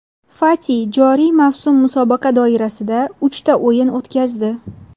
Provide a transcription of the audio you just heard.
Fati joriy mavsum musobaqa doirasida uchta o‘yin o‘tkazdi.